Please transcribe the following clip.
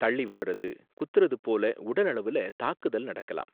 தள்ளி விடுறது, குத்துறது போல உடலளவுல தாக்குதல் நடக்கலாம்.